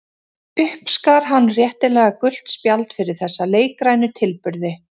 Uppskar hann réttilega gult spjald fyrir þessa leikrænu tilburði.